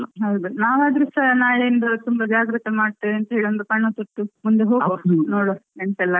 ಹೌದು, ನವಾದ್ರುಸ ನಾಳೆ ಇಂದ ತುಂಬ ಜಾಗ್ರತೆ ಮಾಡತ್ತೇವೆ ಅಂತ ಒಂದು ಕನಸಿತ್ತು ಮುಂದೆ ಹೋಗುವ, ನೋಡ್ವ ಎಂತ ಎಲ್ಲ ಆಗ್ತಾದೆ ಅಂತ.